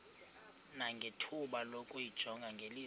nangethuba lokuyijonga ngeliso